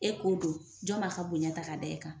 E k'o don jɔn b'a ka bonya ta k'a da e kan?